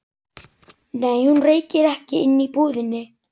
Nei, hún reykir ekki inni í búðinni.